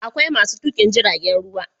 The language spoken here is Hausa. Akwai masu tukin jiragen ruwa